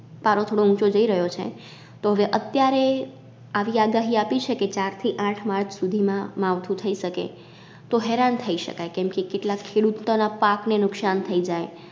પારો થોડો ઊંચો જઈ રહ્યો છે તો હવે અત્યારે આવી આગાહી આપી છે કે ચાર થી આઠ March સુધીમાં માવઠું થઈ શકે તો હેરાન થઈ શકાય કેમ કે કેટલાક ખેડૂતોના પાક ને નુકશાન થઈ જાય.